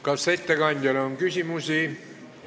Kas ettekandjale on küsimusi?